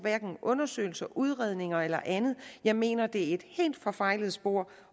undersøgelser udredninger eller andet jeg mener det er et helt forfejlet spor